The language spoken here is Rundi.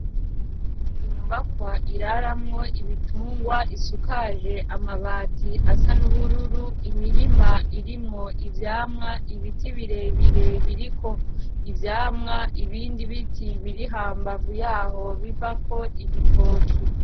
Inyubakwa iraramwo ibitungwa isukaje amabati asa n'ubururu. Imirima irimwo ivyamwa. Ibiti birebire biriko ivyamwa. Ibindi biti biri hambavu yaho bivako igitoki.